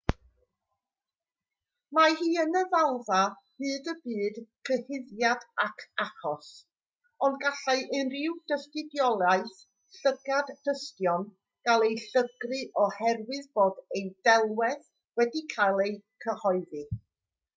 mae hi yn y ddalfa hyd y bydd cyhuddiad ac achos ond gallai unrhyw dystiolaeth llygad-dystion gael ei llygru oherwydd bod ei delwedd wedi cael ei chyhoeddi